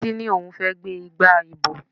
Títí ní òun fẹ́ gbé igba ìbò.